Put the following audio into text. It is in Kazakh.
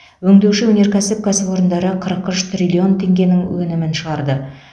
өңдеуші өнеркәсіп кәсіпорындары қырық үш триллион теңгенің өнімін шығарды